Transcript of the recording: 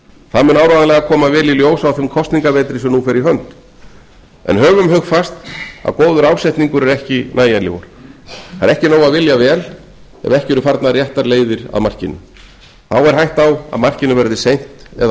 það mun áreiðanlega koma vel í ljós á þeim kosningavetri sem nú fer í hönd en höfum hugfast að góður ásetningur er ekki nægilegur það er ekki nóg að vilja vel ef ekki eru farnar réttar leiðir að markinu þá er hætta á að markinu verði seint eða